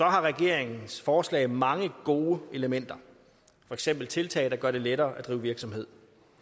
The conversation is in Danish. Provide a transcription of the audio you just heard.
regeringens forslag mange gode elementer for eksempel tiltag der gør det lettere at drive virksomhed